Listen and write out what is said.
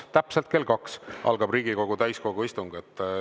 Täpselt kell kaks algab Riigikogu täiskogu istung.